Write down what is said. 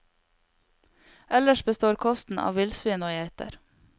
Ellers består kosten av villsvin og geiter.